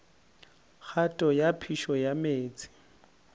kgato ya phišo ya meetse